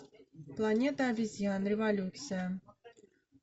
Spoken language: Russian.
планета обезьян революция